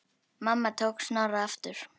Mamma tók Snorra aftur.